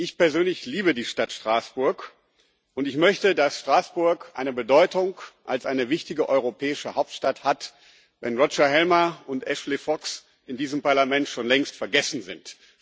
Ich persönlich liebe die Stadt Straßburg, und ich möchte, dass Straßburg eine Bedeutung als eine wichtige europäische Hauptstadt hat, wenn Roger Helmer und Ashley Fox in diesem Parlament schon längst vergessen sind.